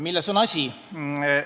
Milles on asi?